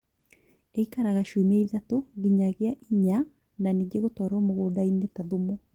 ĩikaraga ciumia ithatũ nginyagia inya na nĩngĩ gutwarwo mũgunda-inĩ ta thumu